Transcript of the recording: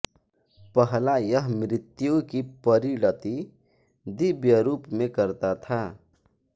पहला यह मृत्यु की परिणति दिव्य रूप में करता था